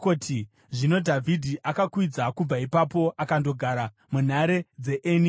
Zvino Dhavhidhi akakwidza kubva ipapo akandogara munhare dzeEni Gedhi.